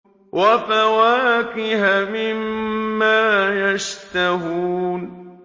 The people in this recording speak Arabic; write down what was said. وَفَوَاكِهَ مِمَّا يَشْتَهُونَ